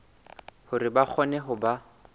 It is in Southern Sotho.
hore ba kgone ho ba